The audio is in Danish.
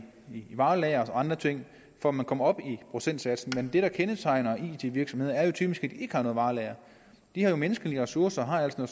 varelagre og andre ting for at man kommer op i procentsatsen men det der kendetegner it virksomheder er jo typisk at ikke har noget varelager de har menneskelige ressourcer og